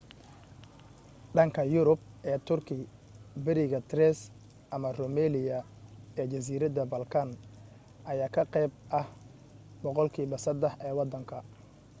dhanka yurub ee turki bariga thrace ama rumelia ee jasiiradda balkan ayaa ka qayb ah boqolkiiba 3% ee wadanka